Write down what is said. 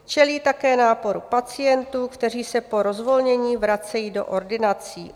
Čelí také náporu pacientů, kteří se po rozvolnění vracejí do ordinací.